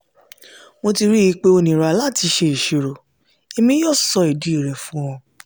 mo ti rii pe o nira lati ṣe oṣuwọn; emi yoo sọ idi rẹ fun ọ.